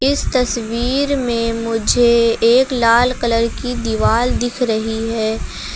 इस तस्वीर में मुझे एक लाल कलर की दिवाल दिख रही है।